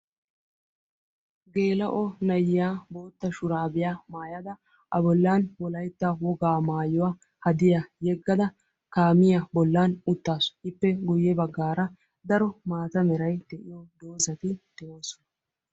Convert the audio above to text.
Gela'o na'iya bootta shurabiya maayada a bollan wolaytta wogaa maayuwa hadiyaa yegada kaamiya bollan uttasu. Ippe guuye baggara daro maataa meeray de'iyo dozati deosona..